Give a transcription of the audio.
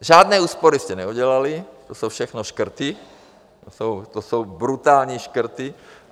Žádné úspory jste neudělali, to jsou všechno škrty, to jsou brutální škrty.